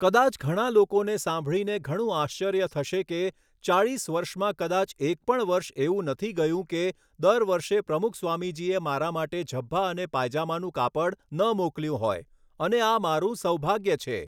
કદાચ ઘણા લોકોને સાંભળીને ઘણું આશ્ચર્ય થશે કે, ચાલીસ વર્ષમાં કદાચ એક પણ વર્ષ એવું નથી ગયું કે દર વર્ષે પ્રમુખ સ્વામીજીએ મારા માટે ઝભ્ભા અને પાયજામાનું કાપડ ન મોકલ્યું હોય અને આ મારું સૌભાગ્ય છે.